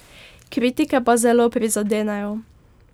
Kritike pa zelo prizadenejo.